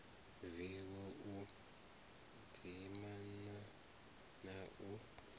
vivho u dzimana na u